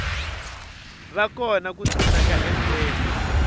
va kona ku simeka endlelo